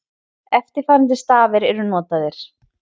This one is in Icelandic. Eftirfarandi stafir eru notaðir: